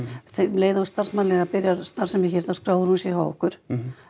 um leið og starfsmannaleiga byrjar starfsemi hér þá skráir hún sig hjá okkur